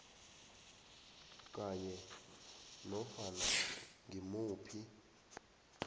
kanye nanofana ngimuphi